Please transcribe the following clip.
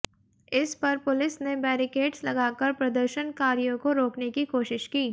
इस पर पुलिस ने बैरिकेट्स लगाकर प्रदर्शनकारियों को रोकने की कोशिश की